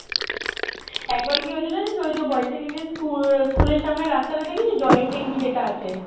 একবার কি হয়েছিল জানিস ওই যে boys secondary স্কুল~ স্কুলের সামনে রাস্তাটা দেখেছিস জলের ট্যাংকি যেটা আছে